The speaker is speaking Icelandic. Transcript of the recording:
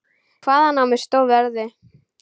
Hvaðan á mig stóð veðrið.